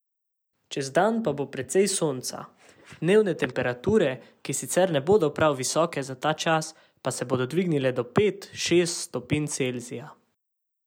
Čez dan pa bo precej sonca, dnevne temperature, ki sicer ne bodo prav visoke za ta čas, pa se bodo dvignile do pet, šest stopinj Celzija.